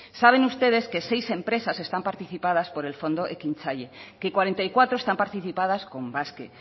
saben ustedes que seis empresas están participadas por el fondo ekintzaile que cuarenta y cuatro están participadas con basque